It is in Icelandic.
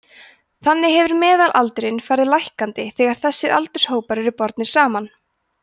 þannig hefur meðalaldurinn farið lækkandi þegar þessir aldurshópar eru bornir saman